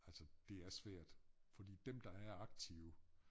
Altså det er svært fordi dem der er aktive